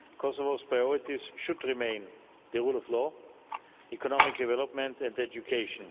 Kosovo's priorities should remain the rule of law, economic development and education.